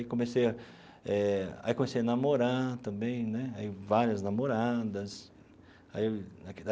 E comecei a eh aí comecei a namorar também né aí, várias namoradas aí.